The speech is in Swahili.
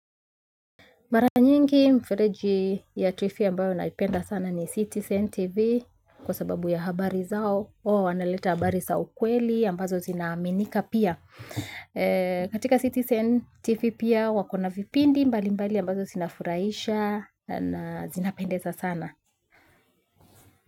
Mara nyingi mfereji ya trifia ambayo naipenda sana ni citizen tv kwa sababu ya habari zao wao wanaleta habari sa ukweli ambazo zinaminika pia e katika citizen tv pia wako na vipindi mbali mbali ambazo sinafuraisha na zinapendeza sana.